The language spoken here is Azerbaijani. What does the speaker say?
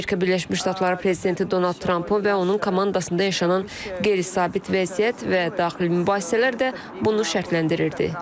Amerika Birləşmiş Ştatları prezidenti Donald Trampın və onun komandasında yaşanan qeyri-sabit vəziyyət və daxili mübahisələr də bunu şərtləndirirdi.